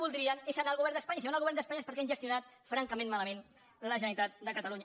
voldrien és anar al govern d’espanya i si van al govern d’espanya és perquè han gestionat francament malament la generalitat de catalunya